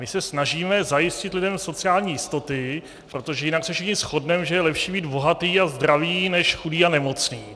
My se snažíme zajistit lidem sociální jistoty, protože jinak se všichni shodneme, že je lepší být bohatý a zdravý než chudý a nemocný.